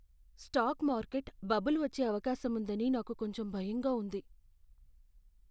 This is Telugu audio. స్టాక్ మార్కెట్ బబుల్ వచ్చే అవకాశం ఉందని నాకు కొంచెం భయంగా ఉంది.